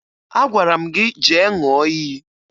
Agwara m gị jee ṅụọ iyi